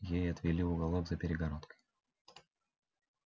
ей отвели уголок за перегородкой